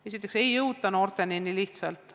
Noorteni ei jõuta nii lihtsalt.